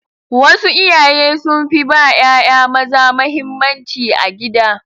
Wasu iyaye sun fi ba ƴaƴa maza mahimmanci a gida.